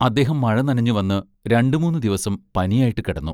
അദ്ദേഹം മഴ നനഞ്ഞു വന്ന് രണ്ടു മൂന്നു ദിവസം പനിയായിട്ടു കിടന്നു.